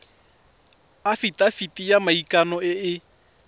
afitafiti ya maikano e e